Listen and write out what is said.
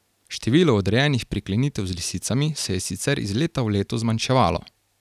Število odrejenih priklenitev z lisicami se je sicer iz leta v leto zmanjševalo.